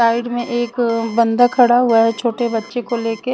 Side में एक आ बंदा खड़ा हुआ है छोटे बच्चें को लेके।